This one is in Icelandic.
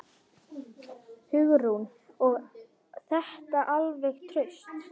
Hugrún: Og þetta alveg traust?